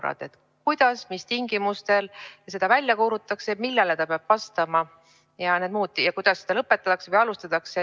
Näiteks kuidas ja mis tingimustel seda välja kuulutatakse, millele see peab vastama, kuidas seda lõpetatakse ja alustatakse.